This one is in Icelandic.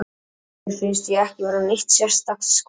Mér finnst ég ekki vera neitt sérstakt skotmark.